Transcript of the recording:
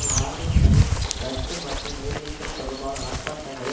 வாரப்பணி இரத்து மற்றும் ஊதியங்கள் தொடர்பான ஆர்ப்பாட்டங்களை